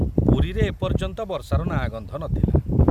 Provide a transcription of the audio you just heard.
ପୁରୀରେ ଏ ପର୍ଯ୍ୟନ୍ତ ବର୍ଷାର ନାଁ ଗନ୍ଧ ନଥିଲା।